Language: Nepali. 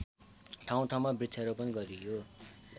ठाउँठाउँमा वृक्षारोपण गरियो